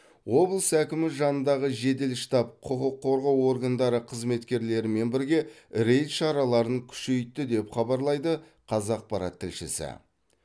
облыс әкімі жанындағы жедел штаб құқық қорғау органдары қызметкерлерімен бірге рейд шараларын күшейтті деп хабарлайды қазақпарат тілшісі